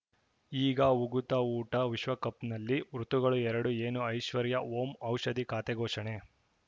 ಈಗ ಉಗುತ ಊಟ ವಿಶ್ವಕಪ್‌ನಲ್ಲಿ ಋತುಗಳು ಎರಡು ಏನು ಐಶ್ವರ್ಯಾ ಓಂ ಔಷಧಿ ಖಾತೆ ಘೋಷಣೆ